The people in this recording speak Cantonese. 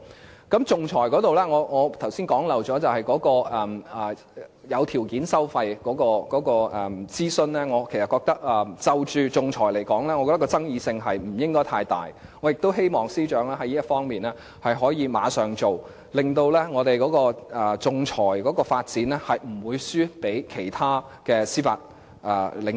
還有，在仲裁方面，我剛才遺漏說，在有條件收費諮詢上，就仲裁來說，其爭議性應該不大，我也希望司長能馬上在這方面下工夫，令我們仲裁的發展不會輸給其他的司法領域。